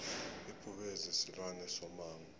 ibhubezi silwane somango